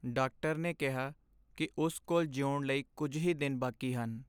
Doctor ਨੇ ਕਿਹਾ ਕਿ ਉਸ ਕੋਲ ਜਿਉਣ ਲਈ ਕੁੱਝ ਹੀ ਦਿਨ ਬਾਕੀ ਹਨ।